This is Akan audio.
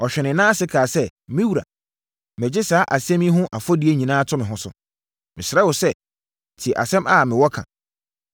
Ɔhwee ne nan ase kaa sɛ, “Me wura, megye saa asɛm yi ho afɔdie nyinaa to me ho so. Mesrɛ wo sɛ, tie asɛm a mewɔ ka.